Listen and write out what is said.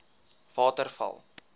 waterval